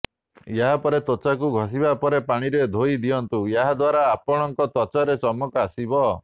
ଏହା ପରେ ତ୍ବଚାକୁ ଘଷିବା ପରେ ପାଣିରେ ଧୋଇ ଦିଅନ୍ତୁ ଏହା ଦ୍ବାରା ଆପଣଙ୍କ ତ୍ବଚାରେ ଚମକ ଆସିବ